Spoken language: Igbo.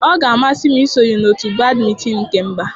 Ọ ga-amasị m isonye na otu badmịtinịị nke mba.